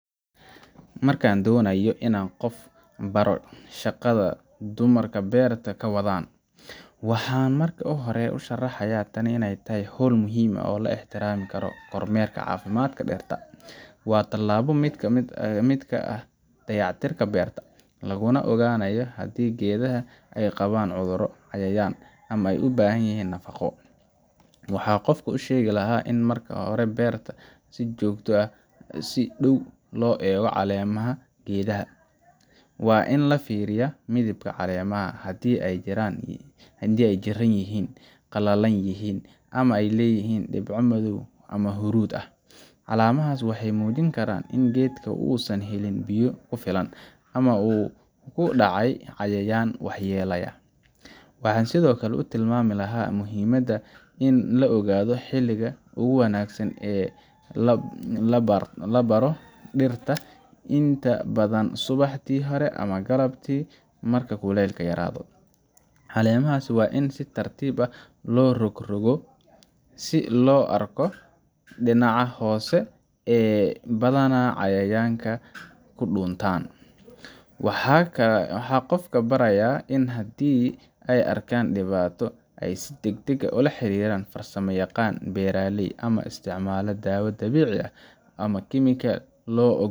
Marka aan doonayo inaan qof ku baro shaqada ay dumarkan beerta ka wadaan, waxaan marka hore sharxayaa in tani tahay hawl muhiim ah oo la xiriirta kormeerka caafimaadka dhirta. Waa tallaabo ka mid ah dayactirka beerta, laguna ogaanayo haddii geedaha ay qabaan cudurro, cayayaan, ama ay u baahan yihiin nafaqo. Waxaan qofka u sheegi lahaa in markaad beerta joogto, aad si dhow u eegto caleemaha geedaha waa in la fiiriyaa midabka caleemaha, haddii ay jirran yihiin, qallalan yihiin, ama ay leeyihiin dhibco madow ama huruudi ah. Calaamadahaas waxay muujin karaan in geedka uusan helin biyo ku filan, ama uu ku dhacay cayayaan waxyeelaynaya. Waxaan sidoo kale tilmaami lahaa muhiimadda ah in la ogaado xilliga ugu wanaagsan ee la baaro dhirta inta badan subaxdii hore ama galabtii marka kuleylka yaraado. Caleemaha waa in si tartiib ah loo rogrogo, si loo arko dhinaca hoose ee badanaa cayayaanka ku dhuuntaan. Waxaan qofka barayaa in haddii ay arkaan dhibaato, ay si degdeg ah ula xiriiraan farsamayaqaan beeraleyda ama isticmaalaan dawo dabiici ah ama kiimiko loo.